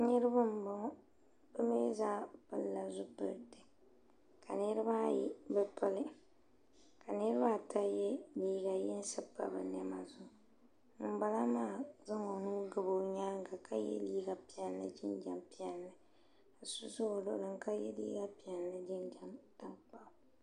Niriba n bɔŋɔ bi mi zaa pili la zupiliti ka niriba ayi bi pili ka niriba ata ye liiga yinsi pa bi nɛma zuɣu ŋuni bala maa zaŋla o nuu gabi o yɛanga ka ye liiga piɛlli jinjam piɛlli ka so za o luɣili ni ka ye liiga piɛlli ni jinjam tankpaɣu.